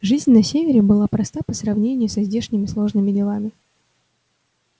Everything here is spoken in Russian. жизнь на севере была проста по сравнению со здешними сложными делами